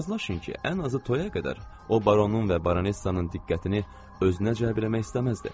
Razılaşın ki, ən azı toya qədər o baronun və baronessanın diqqətini özünə cəlb etmək istəməzdi.